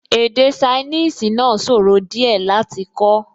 Èdè ṣainíìsì náà sòro díẹ̀ láti kọ́